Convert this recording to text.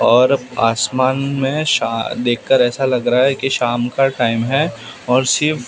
और आसमान में शा देखकर ऐसा लग रहा है कि शाम का टाइम है और सिर्फ--